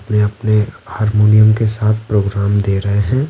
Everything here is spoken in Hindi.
अपने अपने हारमोनियम के साथप्रोग्राम दे रहे हैं।